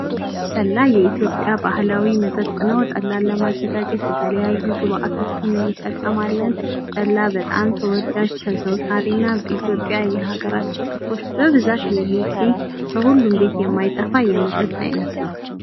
ጠላ የኢትዮጵያ ባህላዊ መጠጥ ነው ጠላ ለማዘጋጀት የተለያዩ ግብዓቶችን እንጠቀማለን ጠላ በጣም ተወላጅ ተዘውታሪና በኢትዮጵያ የሃገራችን ክፍሎች ብዛት የሚገኝ ከሁሉም ቤት የማይጠፋ የመጠጥ አይነት ነው።